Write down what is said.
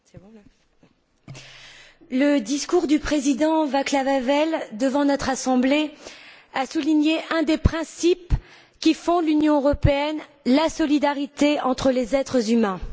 Madame la Présidente, le discours du président Václav Havel devant notre Assemblée a souligné un des principes qui fondent l'Union européenne la solidarité entre les êtres humains.